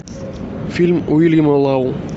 фильм уильяма лау